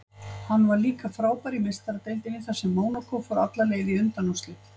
Hann var líka frábær í Meistaradeildinni þar sem Mónakó fór alla leið í undanúrslit.